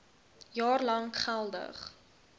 jaar lank geldig